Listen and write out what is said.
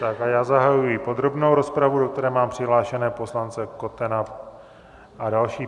Tak a já zahajuji podrobnou rozpravu, do které mám přihlášené poslance Kotena a další.